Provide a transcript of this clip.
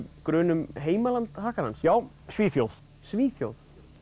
grun um heimaland já Svíþjóð Svíþjóð